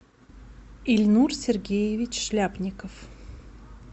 ильнур сергеевич шляпников